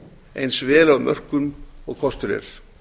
eins vel af mörkum og kostur